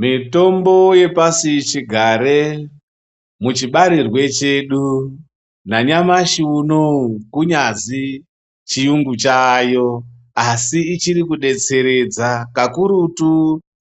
Mitombo yepashi chigare muchibarirwe chedu nanyamashi unouyu kunyazi chiyungu chayo. Asi ichiri kubetseredza kakurutu